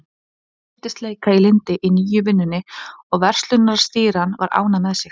Allt virtist leika í lyndi í nýju vinnunni og verslunarstýran var ánægð með mig.